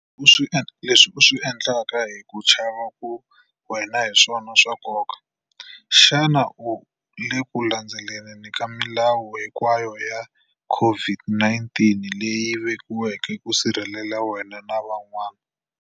Leswi u swi endlaka hi ku chava ka wena hi swona swa nkoka. Xana u le ku landzeleleni ka milawu hinkwayo ya COVID-19 leyi vekiweke ku sirhelela wena na van'wana?